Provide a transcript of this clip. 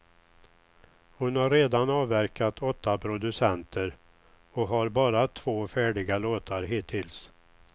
Hon har redan avverkat åtta producenter och har bara två färdiga låtar hittills.